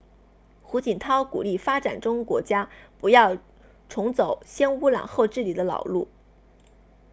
胡锦涛鼓励发展中国家不要重走先污染后治理的老路